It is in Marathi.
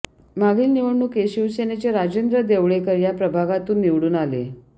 मागील निवडणुकीत शिवसेनेचे राजेंद्र देवळेकर या प्रभागातून निवडून आले